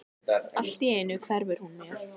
Allt í einu hverfur hún mér.